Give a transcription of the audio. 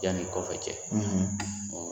Yani kɔfɛ cɛ.